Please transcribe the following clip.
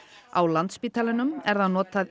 á Landspítalanum er það notað